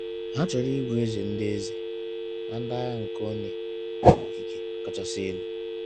Ha chọrọ ịbụ eze ndị eze na ndị agha nke onye okike kachasị elu.